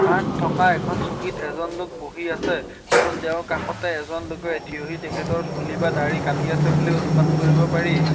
তাত থকা এখন চকীত এজন লোক বহি আছে আৰু তেওঁৰ কাষতে এজন লোকে থিয়হি তেখেতৰ চুলি বা দাড়ি কাটি আছে বুলি অনুমান কৰিব পাৰি।